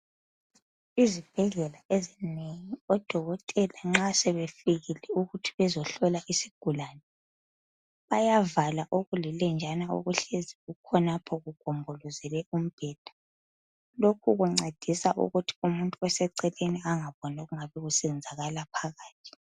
Izibhedlela ezinengi, odokotela nxa sebefikile ukuthi bezehlola isigulane. Bayavala okulilenjana okuhlezi kukhonapho, kugombolozele umbheda. Lokho kuncedisa ukuthi umuntu oseceleni angaboni okungabe kusenzakala phakathi.